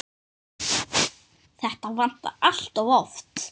Þetta vantar allt of oft.